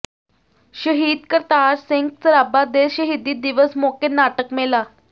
ਸ਼ਹੀਦ ਕਰਤਾਰ ਸਿੰਘ ਸਰਾਭਾ ਦੇ ਸ਼ਹੀਦੀ ਦਿਵਸ ਮੌਕੇ ਨਾਟਕ ਮੇਲਾ